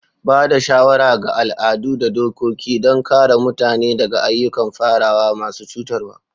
Ba da shawara ga al'adu da dokoki don kare mutane daga ayyukan farawa masu cutarwa.